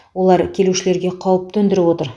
олар келушілерге қауіп төндіріп отыр